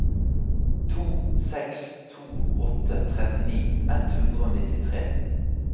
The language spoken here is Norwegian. to seks to åtte trettini ett hundre og nittitre